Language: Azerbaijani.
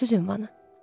Görürsüz ünvanı?